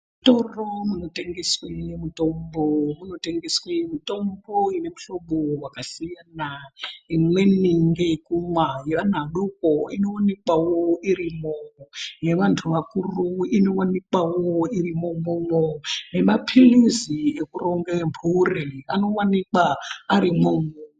Muzvitoro zvinotengeswe mitombo munotengeswe mitombo inemuhlobo wakasiyana , imweni nheyekumwa yeana adoko inowanikwawo irimo, yevantu vakuru inowanikwawo irimo umwomwo nemaphilizi ekuronge mburi anowanikwa arimwo.